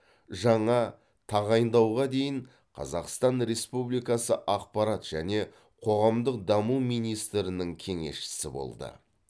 жаңа тағайындауға дейін қазақстан республикасы ақпарат және қоғамдық даму министрінің кеңесшісі болды